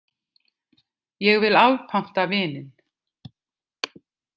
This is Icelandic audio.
Ég vil afpanta vininn!